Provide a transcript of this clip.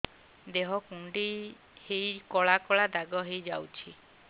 ଦେହ କୁଣ୍ଡେଇ ହେଇ କଳା କଳା ଦାଗ ହେଇଯାଉଛି